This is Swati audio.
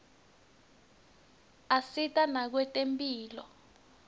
asita nakwetemphilo